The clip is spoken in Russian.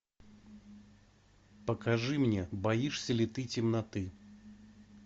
покажи мне боишься ли ты темноты